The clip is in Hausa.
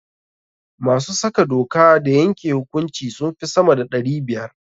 Masu saka doka da yanke hukunci sun fi sama da ɗari biyar.